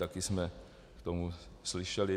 Taky jsme k tomu slyšeli.